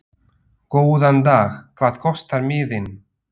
Góðan dag. Hvað kostar miðinn?